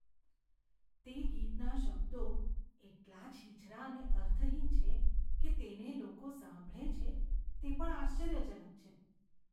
તે ગીતના શબ્દો એટલા છીછરા અને અર્થહીન છે કે તેને લોકો સાંભળે છે તે પણ આશ્ચર્યજનક છે.